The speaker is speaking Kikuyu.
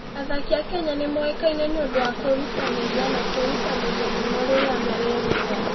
Athaki a Kenya nĩ moĩkaine nĩ ũndũ wa kwĩrutanĩria na kwĩrutanĩria mũno rĩrĩa mareruta.